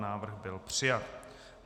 Návrh byl přijat.